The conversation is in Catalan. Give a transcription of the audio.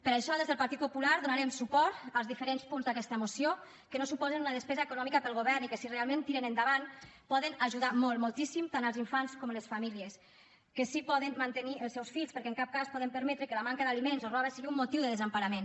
per això des del partit popular donarem suport als diferents punts d’aquesta moció que no suposen una despesa econòmica per al govern i que si realment tiren endavant poden ajudar molt moltíssim tant els infants com les famílies que sí que poden mantenir els seus fills perquè en cap cas podem permetre que la manca d’aliments o roba sigui un motiu de desemparament